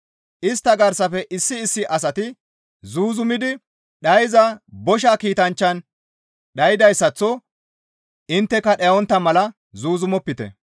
Istta garsafe issi issi asati zuuzumidi dhayssiza bosha kiitanchchan dhaydayssaththo intteka dhayontta mala zuuzumopite.